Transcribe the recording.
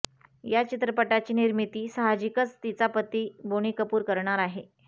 या चित्रपटाची निर्मिती साहजिकच तिचा पती बोनी कपूर करणार आहे